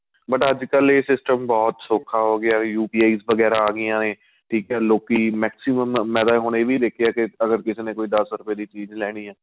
but ਅੱਜ ਕੱਲ ਇਹ system ਬਹੁਤ ਸੋਖਾਂ ਹੋ ਗਿਆ UPI ਵਗੇਰਾ ਆਂ ਗਈਆਂ ਨੇ ਠੀਕ ਏ ਲੋਕੀ maximum ਮੈਂ ਤਾਂ ਹੁਣ ਇਹ ਵੀ ਦੇਖਿਆ ਕੇ ਅਗਰ ਕਿਸੇ ਨੇ ਦੱਸ ਰੁਪਏ ਦੀ ਚੀਜ਼ ਲੈਣੀ ਏ